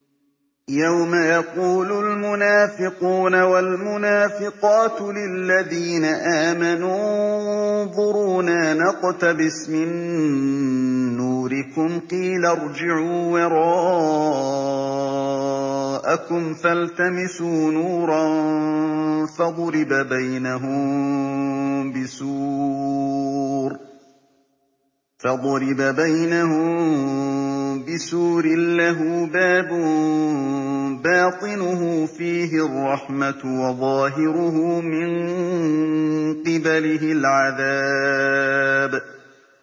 يَوْمَ يَقُولُ الْمُنَافِقُونَ وَالْمُنَافِقَاتُ لِلَّذِينَ آمَنُوا انظُرُونَا نَقْتَبِسْ مِن نُّورِكُمْ قِيلَ ارْجِعُوا وَرَاءَكُمْ فَالْتَمِسُوا نُورًا فَضُرِبَ بَيْنَهُم بِسُورٍ لَّهُ بَابٌ بَاطِنُهُ فِيهِ الرَّحْمَةُ وَظَاهِرُهُ مِن قِبَلِهِ الْعَذَابُ